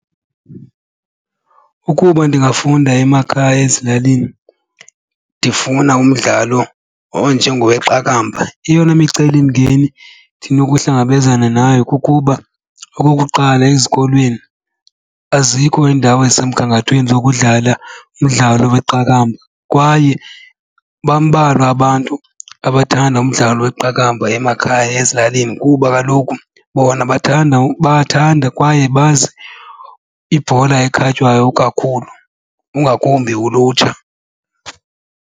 Ukuba ndingafunda emakhaya ezilalini ndifuna umdlalo onjengoweqakamba eyona micelimngeni endinokuhlangabezana nayo kukuba okokuqala ezikolweni azikho iindawo ezisemgangathweni zokudlala umdlalo weqakamba. Kwaye bambalwa abantu abathanda umdlalo weqakamba emakhaya abalimi kuba kaloku bona bathanda kwaye bazi ibhola ekhatywayo kakhulu, ungakumbi ulutsha.